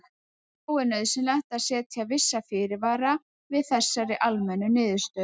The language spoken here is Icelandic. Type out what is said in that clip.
Þó er nauðsynlegt að setja vissa fyrirvara við þessari almennu niðurstöðu.